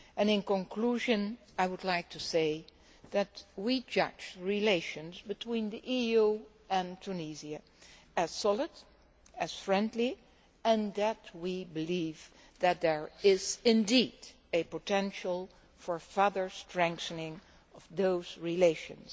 In conclusion, I would like to say that we judge relations between the EU and Tunisia as solid and friendly and that we believe that there is indeed a potential for further strengthening of those relations.